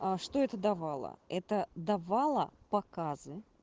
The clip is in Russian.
а что это давало это давало показы